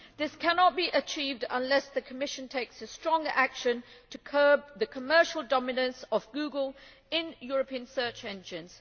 This cannot be achieved unless the Commission takes stronger action to curb the commercial dominance of Google in European search engines.